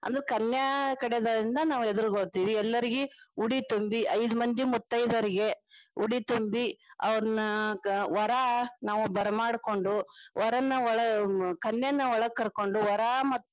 ಅಂದ್ರ ಅದು ಕನ್ಯಾ ಕಡೆಯಿಂದ ನಾವ ಎದುರುಗೊಳ್ಳತಿವಿ ಎಲ್ಲರಿಗಿ ಉಡಿ ತುಂಬಿ ಐದ ಮಂದಿ ಮುತ್ತೈದೆರೆಗೆ ಉಡಿ ತುಂಬಿ ಅವ್ರ್ನ ವರಾ ನಾವ ಬರಮಾಡ್ಕೊಂಡು ವರನ್ನ ಒಳಗ ಕನ್ಯಾನ ಒಳಗ ಕರಕೊಂಡು ವರಾ.